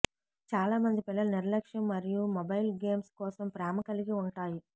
చాలామంది పిల్లలు నిర్లక్ష్యం మరియు మొబైల్ గేమ్స్ కోసం ప్రేమ కలిగి ఉంటాయి